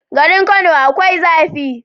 Garin kano akwai zafi